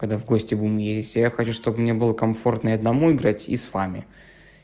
когда в гости будем ездить я хочу чтобы мне было комфортно и одному играть и с вами